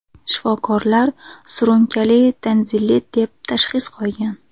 Shifokorlar surunkali tonzillit deb tashxis qo‘ygan.